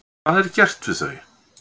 Hvað er gert við þau?